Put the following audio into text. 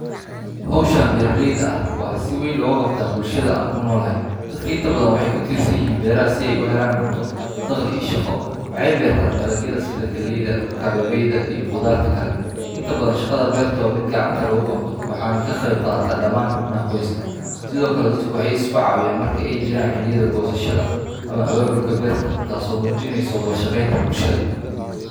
Hawshan beeraleyda ah waxaa si weyn looga qabtaa bulshada aan ku noolahay. Dadka inta badan waxay ku tiirsan yihiin beeraha si ay u helaan cunto, dakhli iyo shaqo. Waxay beertaan dalagyada sida galleyda, kabeebeyda, iyo khudaarta kale. Inta badan shaqada beerta waa mid gacanta lagu qabto, waxaana ka qeyb qaata dhammaan xubnaha qoyska. Sidoo kale, dadku waxay is caawiyaan marka ay jiraan xilliyada goosashada ama abaabulka beerta, taasoo muujineysa wada shaqeynta bulshada.